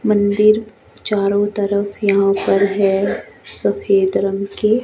मंदिर चारों तरफ यहां पर है सफेद रंग के --